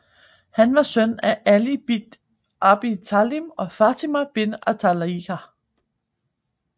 Han var søn af Ali ibn Abi Talib og Fatima bint Qalabiyya